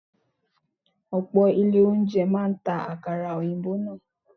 Ọ̀pọ̀ ilé oúnjẹ máa ń ta àkàrà òyìnbó náà.